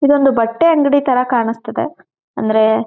ಇದೊಂದು ಬಟ್ಟೆ ಅಂಗಡಿ ತರ ಕಾಣಿಸ್ತಿದೆ ಅಂದ್ರೆ--